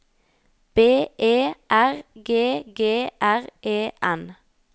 B E R G G R E N